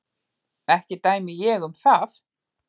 Ekki dæmi ég um það.